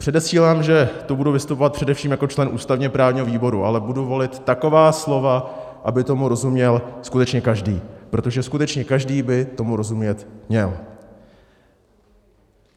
Předesílám, že tu budu vystupovat především jako člen ústavně-právního výboru, ale budu volit taková slova, aby tomu rozuměl skutečně každý, protože skutečně každý by tomu rozumět měl.